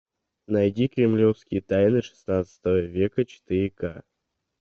найди кремлевские тайны шестнадцатого века четыре ка